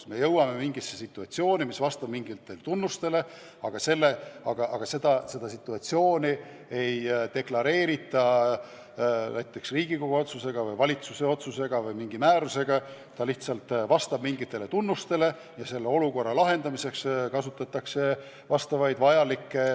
On tekkinud mingi situatsioon, mis vastab mingitele tunnustele, aga seda situatsiooni ei deklareerita Riigikogu otsusega või valitsuse otsusega või mingi määrusega, see lihtsalt vastab mingitele tunnustele ja olukorra lahendamiseks kasutatakse asjaomaseid meetmeid.